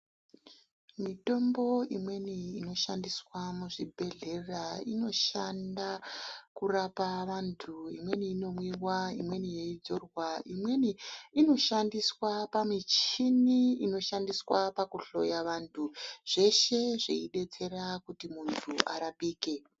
Mitombo imweni inoshandiswa muzvibhedhlera inoshanda, kurapa vantu, imweni inomwiwa, imweni yeidzorwa, imweni inoshandiswa pamichini inoshandiswa pakuhloya vantu, zveshe zveidetsera kuti muntu arapike.